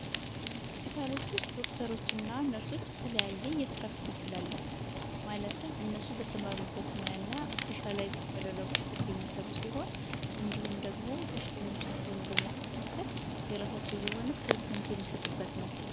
ሆስፒታሎች ውስጥ ዶክተሮች ና ነርሶች እተለያየ የሥራ ክፈፍላ አላቸው። ማለትም እነሱ በተመሩበት ሙያ እና እስፔሻላይ ባደረጉበት የሚሰሩ ሲሆን እንዲሁም ደግሞ በሽተኞቻቸውን በመክፈፍል የራሳቸውን የሆነ ትልኩንድ የሚሰጡበት ነው።